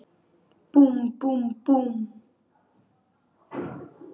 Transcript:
Búmm, búmm, búmm.